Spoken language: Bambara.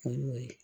O y'o ye